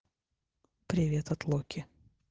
привет от локи